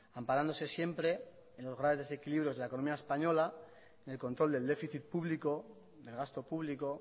amparándose siempre en los graves desequilibrios de la economía española en el control del déficit público del gasto público